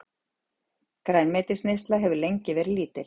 Grænmetisneyslan hefur lengi verið lítil.